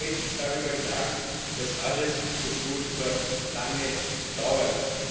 Und man kann mit Recht darüber klagen, dass alles so furchtbar lange dauert.